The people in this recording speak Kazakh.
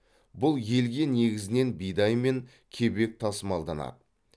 бұл елге негізінен бидай мен кебек тасымалданады